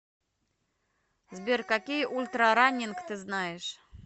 сбер какие ультрараннинг ты знаешь